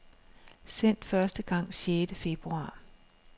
Sendt første gang sjette februar.